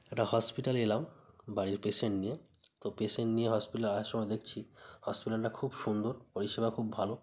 একটা হসপিটাল -এ এলাম বাড়ির পেশেন্ট নিয়ে তো পেশেন্ট নিয়ে হসপিটাল -এ আসার সময় দেখছি হসপিটাল -টা খুব সুন্দর পরিষেবা খুব ভালো।